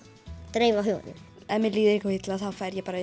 dreifa huganum ef mér líður illa þá fer ég